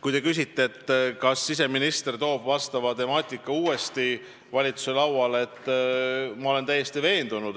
Kui te küsite, kas siseminister toob vastava temaatika uuesti valitsuse lauale, siis vastan,